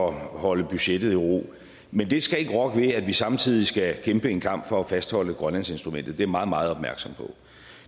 at holde budgettet i ro men det skal ikke rokke ved at vi samtidig skal kæmpe en kamp for at fastholde grønlandsinstrumentet jeg meget meget opmærksom på